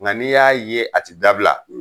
Nka n'i y'a ye a ti dabila